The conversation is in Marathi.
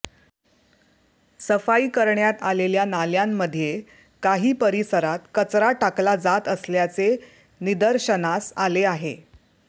सफाई करण्यात आलेल्या नाल्यांमध्ये काही परिसरात कचरा टाकला जात असल्याचे निदर्शनास आले आहे